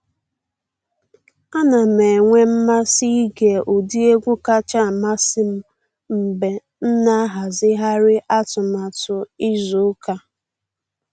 A na m enwe mmasị ịge ụdị egwu kacha amasị m mgbe m na ahazigharị atụmatụ izu ụka.